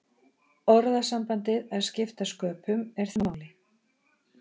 Orðasambandið að skipta sköpum er þekkt í fornu máli.